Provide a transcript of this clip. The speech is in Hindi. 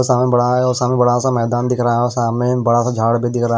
सामने बड़ा है और सामने बड़ा सा मैदान दिख रहा है और सामने बड़ा सा झाड़ भी दिख रहा है।